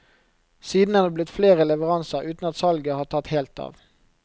Siden er det blitt flere leveranser, uten at salget har tatt helt av.